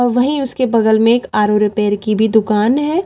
और वहीं उसके बगल में एक आर_ओ रिपेयर की भी दुकान है।